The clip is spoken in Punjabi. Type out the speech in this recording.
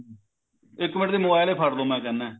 ਇੱਕ ਮਿੰਟ mobile ਹੀ ਫੜ੍ਹ ਲੋ ਮੈਂ ਕਹਿੰਦਾ